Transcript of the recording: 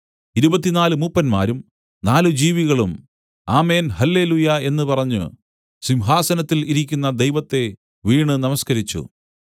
ഇരുപത്തിനാല് മൂപ്പന്മാരും നാല് ജീവികളും ആമേൻ ഹല്ലെലൂയ്യാ എന്നു പറഞ്ഞു സിംഹാസനത്തിൽ ഇരിക്കുന്ന ദൈവത്തെ വീണു നമസ്കരിച്ചു